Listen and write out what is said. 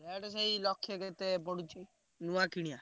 Rate ସେଇ ଲକ୍ଷେ କେତେ ପଡୁଛି ନୂଆ କିଣିଆ।